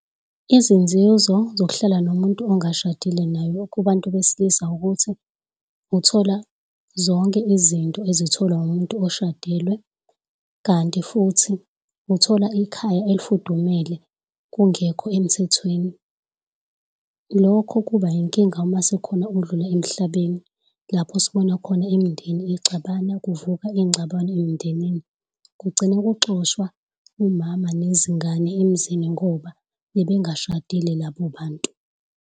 Izinzuzo zokuhlala nomuntu ongashadile naye kubantu besilisa ukuthi uthola zonke izinto ezitholwa umuntu oshadile kanti futhi uthola ikhaya elifudumele kungekho emthethweni. Lokhu kuba inkinga uma sekukhona odlula emhlabeni lapho sibona khona imindeni ixabana kuvuka izingxabano emindenini. Kugcine kuxoshwa umama nezingane emizini ngoba bebengashadile labo bantu.